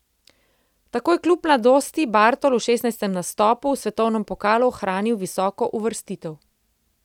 Tako je kljub mladosti Bartol v šestnajstem nastopu v svetovnem pokalu ohranil visoko uvrstitev.